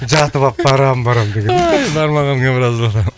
жатып алып барамын барамын бармағаныңа біраз болды